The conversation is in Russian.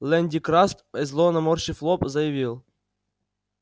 лэн дин краст зло наморщив лоб заявил